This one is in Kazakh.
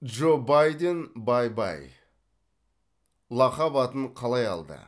джо байден бай бай лақап атын қалай алды